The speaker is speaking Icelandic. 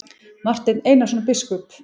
Marteinn Einarsson biskup!